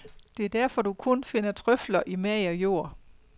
Det er derfor, du kun finder trøfler i mager jord.